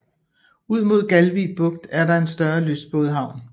Ud mod Galvig Bugt er der en større lystbådehavn